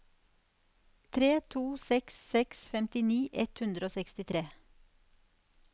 tre to seks seks femtini ett hundre og sekstitre